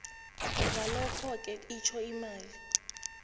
ngalokhoke itjho imali